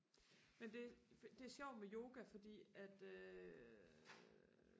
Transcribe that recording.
men det det sjovt med yoga fordi at øh